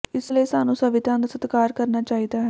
ਇਸ ਲਈ ਸਾਨੂੰ ਸੰਵਿਧਾਨ ਦਾ ਸਤਿਕਾਰ ਕਰਨਾ ਚਾਹੀਦਾ ਹੈ